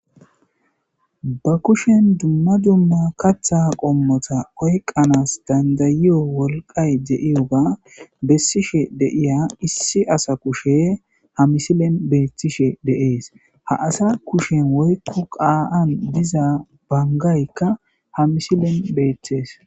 ba kushen dumma dumma katha qommota oykqanas dandayiyo wolqay de7iyoga bessishe deiya issi asa kushe ha misilen beethtishe deees ha asa kushen woykko qaa7an diza bangaykka ha misilen beeththees